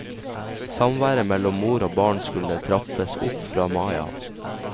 Samværet mellom mor og barn skulle trappes opp fra mai av.